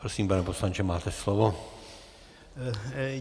Prosím, pane poslanče, máte slovo.